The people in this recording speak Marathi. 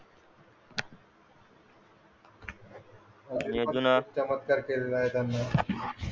आणि अजून खूप चमत्कार केला आहे त्यांनी